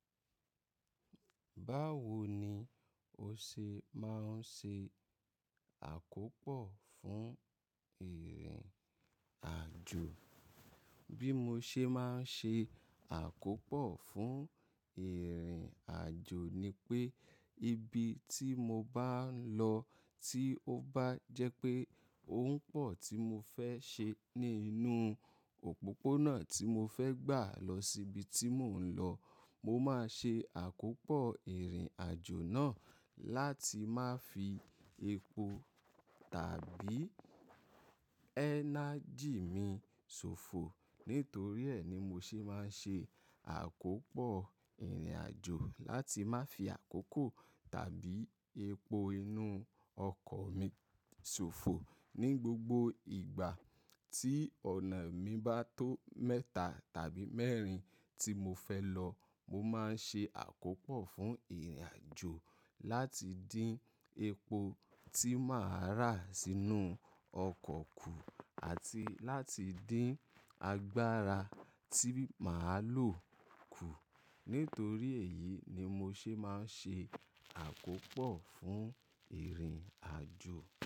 Báwo ni o ṣe máa ń ṣe àkópọ̀ fún ìrìn àjò? Bí mo ṣe máa ń ṣe àkópọ̀ fún ìrìn àjò ni pé ibi tí mo bá ń lọ tí ó bá jẹ́ pé òun pọ̀ tí mo fẹ́ ṣe ní inú òpópónà tí mo fẹ́ gbà lọ sí ibi tí mò ń lọ. Mo máa ṣe àkópọ̀ ìrìn àjò náà láti má fi epo tàbí ẹ́nájì mi ṣòfò. Nítorí ẹ̀ ni mo ṣe máa ń ṣe àkópọ̀ ìrìn àjò láti má fi àkókò tàbí epo inú ọkọ̀ mi ṣòfò. Ní gbogbo ìgbà tí ọ̀nà mi bá tó mẹ́ta tàbí mẹ́rin tí mo fẹ́ lọ, mo máa ń ṣe àkópọ̀ fún ìrìn àjò láti dín epo tí màá rà sínú ọkọ̀ kù àti láti dín agbára tí màá lò kù. Nítorí èyí ni mo ṣe máa ń ṣe àkópọ̀ fún ìrìn àjò.